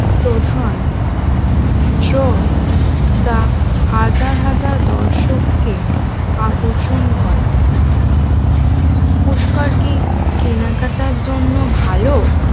প্রধান ড্র যা হাজার হাজার দর্শককে আকর্ষণ করে পুস্কর কি কেনাকাটার জন্য ভালো?